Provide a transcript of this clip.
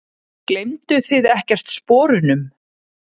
Gleymduð þið ekkert sporunum?